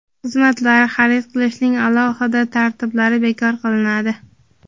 xizmatlar) xarid qilishning alohida tartiblari bekor qilinadi.